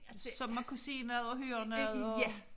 Så man kunne se noget og høre noget og